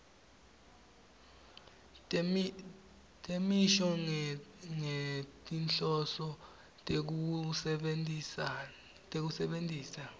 temisho ngetinhloso tekusebentisa